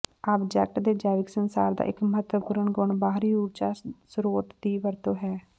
object ਦੇ ਜੈਵਿਕ ਸੰਸਾਰ ਦਾ ਇਕ ਮਹੱਤਵਪੂਰਨ ਗੁਣ ਬਾਹਰੀ ਊਰਜਾ ਸਰੋਤ ਦੀ ਵਰਤੋ ਹੈ